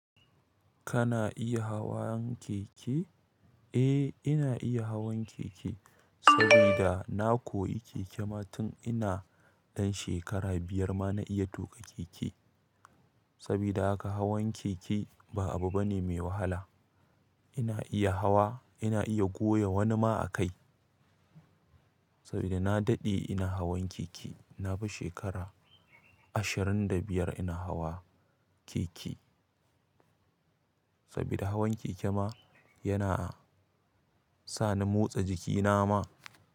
Kana iya hawan keke? Eh, ina iya hawan keke sabida na koyi keke ma tun ina ɗan shekara biyar ma na iya tuƙa keke. Sabida haka hawan keke ba abu bane mai wahala. Ina iya hawa, ina iya goya wani ma a kai. Sabida na daɗe ina hawan keke. Nafishi shekara ashirin da biyar ina hawa keke sabida hawan keke ma yana sani motsa jiki na ma.